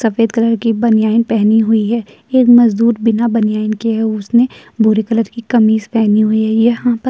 सफेद कलर की बनियाइन पेहनी हुई है। एक मज़दूर बिना बनियाइन के हैं उसने भूरी कलर की कमीज़ पहनी हुई है। यहां प --